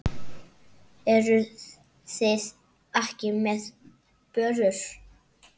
Eruð þið ekki með börur?